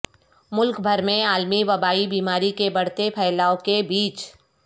ملک بھر میں عالمی وبائی بیماری کے بڑھتے پھیلاءو کے بیچ